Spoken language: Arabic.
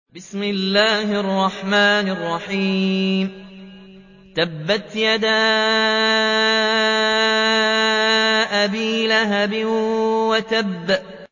تَبَّتْ يَدَا أَبِي لَهَبٍ وَتَبَّ